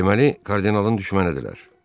Deməli, kardinalın düşmənləridirlər.